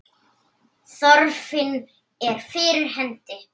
Þörfin er fyrir hendi.